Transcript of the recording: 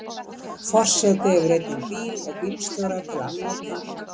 Forseti hefur einnig bíl og bílstjóra til afnota.